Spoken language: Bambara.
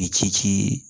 I ci